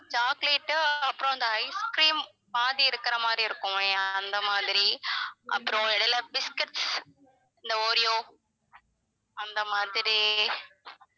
choclate அப்பறம் அந்த ice cream பாதி இருக்கிற மாதிரி இருக்குமே அந்த மாதிரி அப்புறம் இடையில biscuits இந்த ஒரியோ அந்த மாதிரி